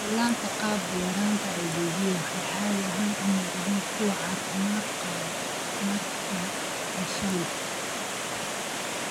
Dhallaanka qaba yaraanta IBD waxay caadi ahaan u muuqdaan kuwo caafimaad qaba markay dhashaan.